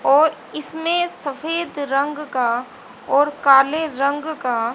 और इसमें सफेद रंग का और काले रंग का --